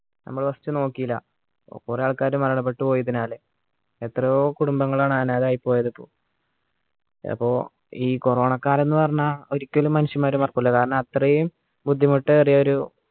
നമ്ള് first നോക്കീലാ കുറെ ആൾക്കാർ മരണപ്പെട്ടു പോയി പിന്നെ എത്രയോ കുടുംബങ്ങളാണ് അനാഥായിപ്പോയത് അപ്പോ ഈ corona കാലം എന്ന് പറഞ്ഞാൽ ഒരിക്കലും മനുഷ്യന്മാർ മറക്കൂല കാരണം അത്രയും ബുദ്ധിമുട്ട് ഏറിയൊരു